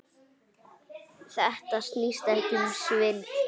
Þetta snýst ekki um svindl.